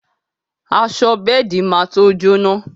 Aṣọ bẹ́ẹ̀di má to jóná